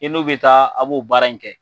I n'o bi taa a b'o baara in kɛ.